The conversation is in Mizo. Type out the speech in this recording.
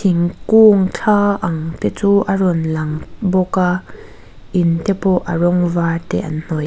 thingkung thla ang te chu a rawn lang bawk a in te pawh a rawng var te an hnawih.